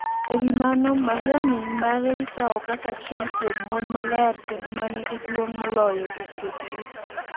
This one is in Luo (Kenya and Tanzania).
E wi mano, Mariam min mare ikawo kaka achiel kuom mon maler kendo ma nigi duong' moloyo e chwech duto.